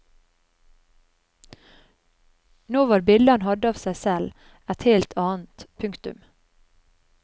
Nå var bildet han hadde av seg selv et helt annet. punktum